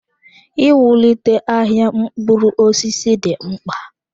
Iwulite ahịa mkpụrụ osisi dị mkpa.